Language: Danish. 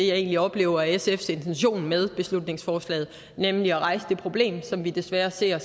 jeg egentlig oplever er sfs intention med beslutningsforslaget nemlig at rejse det problem som vi desværre ser